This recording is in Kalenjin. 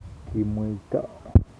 Kimweito